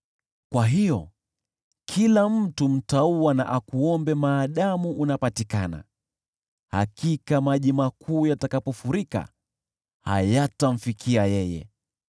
Kwa hiyo kila mtu mcha Mungu akuombe wakati unapopatikana, hakika maji makuu yatakapofurika hayatamfikia yeye.